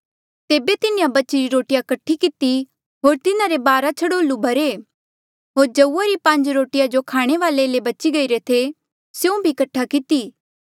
तेबे तिन्हें बचीरी रोटिया कठी किती होर तिन्हारे बारा छड़ोल्लू भरे होर जऊआ री पांज रोटिया जो खाणे वाले ले बची गईरे थे स्यों भी कठा किती